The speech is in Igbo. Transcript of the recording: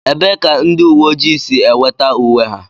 Ebee ka ndị uwe ojii si enweta uwe ha